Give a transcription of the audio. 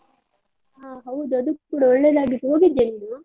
ಹಾ ಹೌದು ಅದು ಕೂಡ ಒಳ್ಳೆದಾಗಿತ್ತು, ಹೋಗಿದ್ಯಾ ನೀನು?